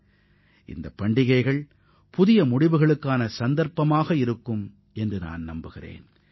இதுபோன்ற பண்டிகைகள் புதிய உறுதி மொழிகளை ஏற்க வாய்ப்பாக அமையும் என நான் நம்புகிறேன்